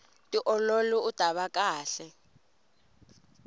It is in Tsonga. tiololi utava kahle